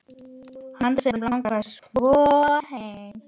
Hana sem langaði svo heim.